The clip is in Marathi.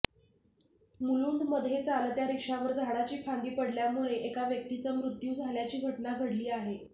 मुलुंडमध्ये चालत्या रिक्षावर झाडाची फांदी पडल्यामुळे एका व्यक्तीचा मृत्यू झाल्याची घटना घडली आहे